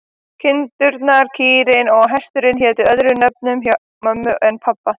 Kindurnar, kýrin og hesturinn hétu öðrum nöfnum hjá mömmu en pabba.